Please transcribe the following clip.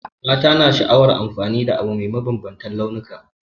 Mata na sha'awar amfani da abu mai mabambantan launuka.